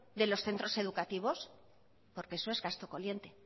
de los centros educativos porque eso es gasto corriente